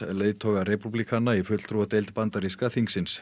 leiðtoga repúblikana í fulltrúadeild bandaríska þingsins